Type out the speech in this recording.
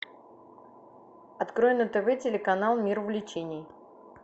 открой на тв телеканал мир увлечений